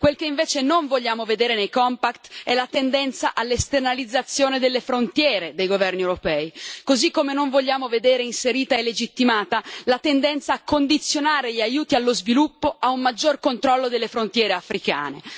Quel che invece non vogliamo vedere nei compact è la tendenza alla esternalizzazione delle frontiere dei governi europei, così come non vogliamo vedere inserita e legittimata la tendenza a condizionare gli aiuti allo sviluppo a un maggior controllo delle frontiere africane.